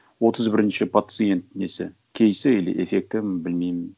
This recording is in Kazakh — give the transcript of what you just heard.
отыз бірінші пациент несі кейсі или эффекті білмеймін